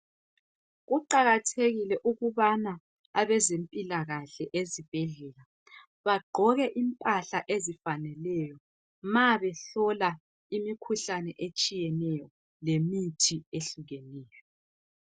Kuqakathekile ukubana abazemphilakahle esibhedlela bagqoke imphahla ezifaneleyo, ma behlola imkihuhlane etshiyeneyo, lemithi ehlukeneyo.